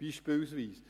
Dies als Beispiel.